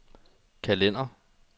kalender